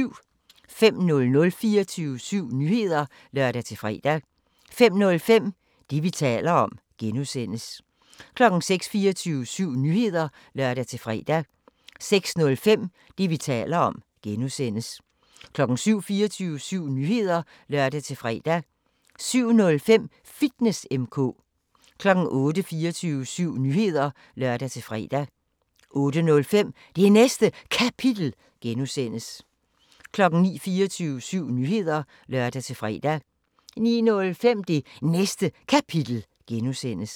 05:00: 24syv Nyheder (lør-fre) 05:05: Det, vi taler om (G) 06:00: 24syv Nyheder (lør-fre) 06:05: Det, vi taler om (G) 07:00: 24syv Nyheder (lør-fre) 07:05: Fitness M/K 08:00: 24syv Nyheder (lør-fre) 08:05: Det Næste Kapitel (G) 09:00: 24syv Nyheder (lør-fre) 09:05: Det Næste Kapitel (G)